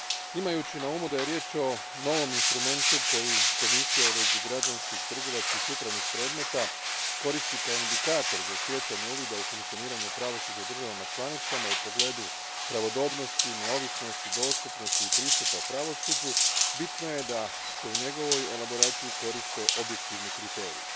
Imajući na umu da je riječ o novom instrumentu koji Komisija u vezi s građanskim, upravnim i trgovačkim predmetima koristi kao indikator za stjecanje uvida u funkcioniranje pravosuđa u državama članicama u pogledu pravodobnosti, neovisnosti, dostupnosti i pristupa pravosuđu, bitno je da se u njegovoj elaboraciji koriste objektivni kriteriji.